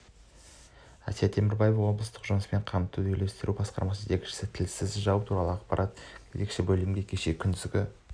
әсия темірбаева облыстық жұмыспен қамтуды үйлестіру басқармасының жетекшісі тілсіз жау туралы ақпарат кезекші бөлімге кеше күндізгі